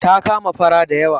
Ta kama fara da yawa.